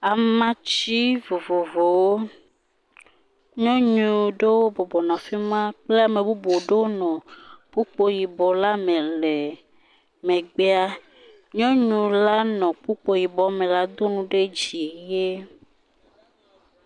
Amatsi vovovowo, nyɔnu ɖewo bɔbɔnɔ afi ma kple ame bubu ɖewo nɔ kpokpo yibɔ la me le megbea. Nyɔnu la nɔ kpokpo yibɔ me la do nu ɖe dzi he.